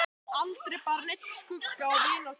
Aldrei bar neinn skugga á vináttu okkar.